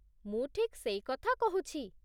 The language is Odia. ମୁଁ ଠିକ୍ ସେଇକଥା କହୁଛି